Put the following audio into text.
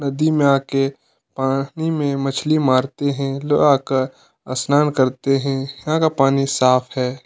नदी में आके पानी में मछली माँरते है लोग आकर असनान करते हैं यहाँ का पानी साफ़ है।